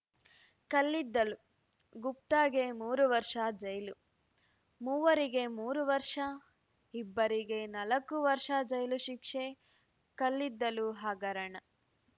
ಕಲ್ಲಿದ್ದಲು ಗುಪ್ತಾಗೆ ಮೂರು ವರ್ಷ ಜೈಲು ಮೂವರಿಗೆ ಮೂರು ವರ್ಷ ಇಬ್ಬರಿಗೆ ನಾಲ್ಕು ವರ್ಷ ಜೈಲು ಶಿಕ್ಷೆ ಕಲ್ಲಿದ್ದಲು ಹಗರಣ